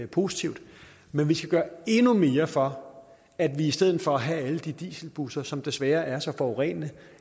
positivt men vi skal gøre endnu mere for at vi i stedet for at have alle de dieselbusser som desværre er så forurenende